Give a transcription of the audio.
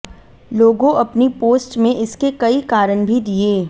लोगों अपनी पोस्ट में इसके कई कारण भी दिए